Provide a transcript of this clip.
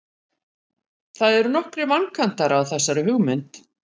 það eru nokkrir vankantar á þessari hugmynd